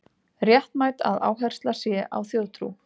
Réttmætt að áhersla sé á þjóðtrú